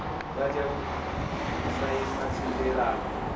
vha tea u saina thendelano